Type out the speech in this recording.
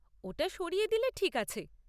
ওটা সরিয়ে দিলে ঠিক আছে।